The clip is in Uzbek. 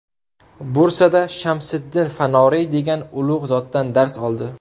Bursada Shamsiddin Fanoriy degan ulug‘ zotdan dars oldi.